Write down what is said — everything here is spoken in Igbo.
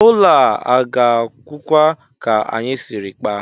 Ụlọ a ọ ga-agwụkwa ka anyị siri kpaa?